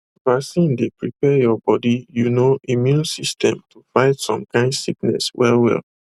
vaccine dey prepareyour body you know immune system to fight some kind sickness well well